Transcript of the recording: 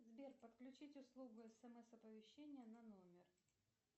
сбер подключить услугу смс оповещения на номер